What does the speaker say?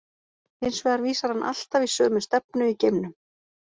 Hins vegar vísar hann alltaf í sömu stefnu í geimnum.